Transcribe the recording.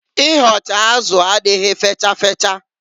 Ịhọcha azụ adịghị fecha fecha.